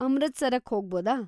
ಅಮೃತ್‌ಸರಕ್ಕ್ ಹೋಗ್ಬೋದಾ?